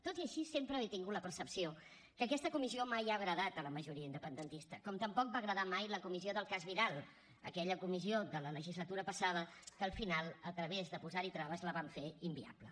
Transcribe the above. tot i així sempre he tingut la percepció que aquesta comissió mai ha agradat a la majoria independentista com tampoc va agradar mai la comissió del cas vidal aquella comissió de la legislatura passada que al final a través de posar hi traves la van fer inviable